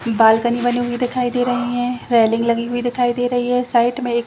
balcony बनी हुई दिखाई दे रही है रेलिंग लगी हुई दिखाई दे रही है साइड में एक--